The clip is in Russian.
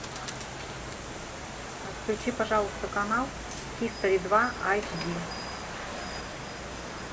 включи пожалуйста канал хистори два айч ди